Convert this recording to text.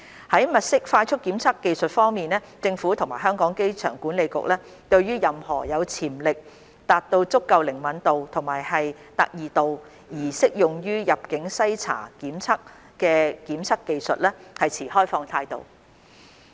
在物色快速檢測技術方面，政府及香港機場管理局對於任何有潛力達到足夠靈敏度及特異度而適用於入境篩查檢測的檢測技術持開放態度。